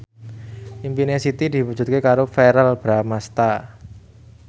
impine Siti diwujudke karo Verrell Bramastra